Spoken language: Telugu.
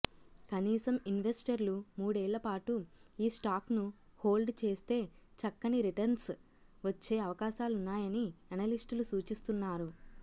కనీసం ఇన్వెస్టర్లు మూడేళ్ళ పాటు ఈ స్టాక్ను హోల్డ్ చేస్తే చక్కని రిటర్న్స్ వచ్చే అవకాశాలున్నాయని ఎనలిస్టులు సూచిస్తున్నారు